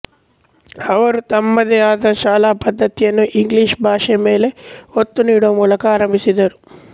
ಅವರು ತಮ್ಮದೇ ಆದ ಶಾಲಾ ಪದ್ದತಿಯನ್ನು ಇಂಗ್ಲಿಷ್ ಭಾಷೆ ಮೇಲೆ ಒತ್ತು ನೀಡುವ ಮೂಲಕ ಆರಂಭಿಸಿದರು